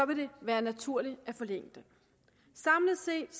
det være naturligt at forlænge den samlet set